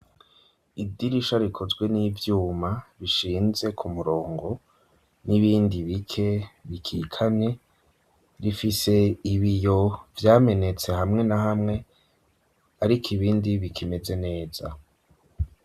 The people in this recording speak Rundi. Idirisha rikozwe n'ivyuma, bishinze ku murongo n'ibindi bike, bikikamye ,rifise ibiyo vyamenetse hamwe na hamwe ariko ibindi bikimeze neza.